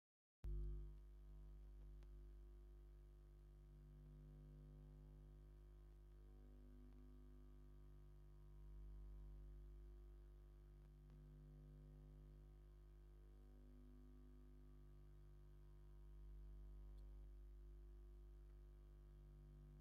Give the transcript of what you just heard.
ዓቢን ፍሩይን ዝራእቲ ፓፓዮ ዘርኢ እዩ። እቶም ብዙሓት ፍረታት መብዛሕትኡ ግዜ ቀጠልያ ሕብሪ ዘለዎም እዮም። ገሊአን ብጫን ኣራንሺን ይቕየራ ኣለዋ፣ እዚ ድማ ዓይኒ ዝማርኽ ደረጃታት ምብሳል ዘመልክት እዩ።